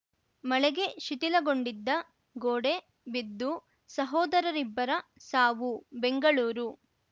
ಮಳೆಗೆ ಶಿಥಿಲಗೊಂಡಿದ್ದ ಗೋಡೆ ಬಿದ್ದು ಸಹೋದರಿಬ್ಬರ ಸಾವು ಬೆಂಗಳೂರು